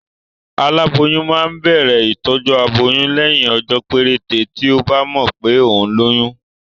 Aláboyún máa ń bẹ̀rẹ̀ ìtọjú aboyún lẹ́yìn ọjọ́ péréte tí ọ́ bá mọ̀ pé òun lóyún